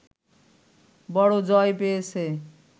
বড় জয় পেয়েছে